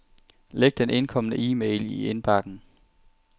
Læg den indkomne e-mail i indbakken.